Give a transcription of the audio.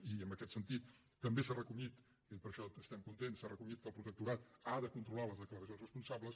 i en aquest sentit també s’ha recollit i per això estem contents s’ha recollit que el protectorat ha de controlar les declaracions responsables